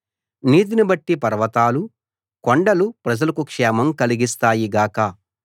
నీతిని బట్టి పర్వతాలు కొండలు ప్రజలకు క్షేమం కలిగిస్తాయి గాక